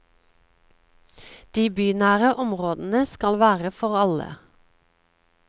De bynære områdene skal være for alle.